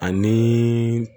Ani